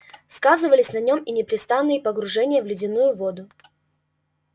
сказывались на нем и непрестанные погружения в ледяную воду